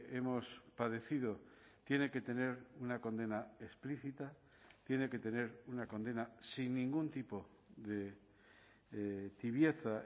hemos padecido tiene que tener una condena explícita tiene que tener una condena sin ningún tipo de tibieza